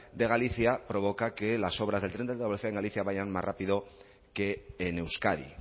de galicia provoca que las obras del tren de alta velocidad en galicia vayan más rápido que en euskadi